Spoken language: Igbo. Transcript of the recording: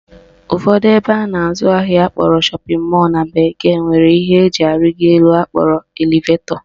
Ụfọdụ ebe a na-azụ ahịa akpọrọ shopping mall na bekee nwere ihe eji arịgo elu akpọrọ elevetọ